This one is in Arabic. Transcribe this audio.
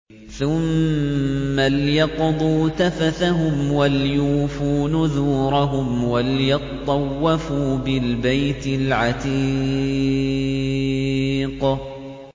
ثُمَّ لْيَقْضُوا تَفَثَهُمْ وَلْيُوفُوا نُذُورَهُمْ وَلْيَطَّوَّفُوا بِالْبَيْتِ الْعَتِيقِ